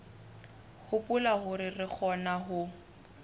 hopola hore re kgona ho